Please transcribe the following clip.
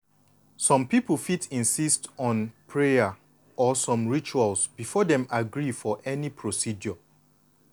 some people fit insist on prayer or some rituals before dem agree for any procedure.